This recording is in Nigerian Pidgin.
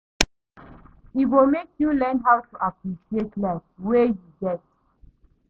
E go mek yu learn how to appreciate life wey yu get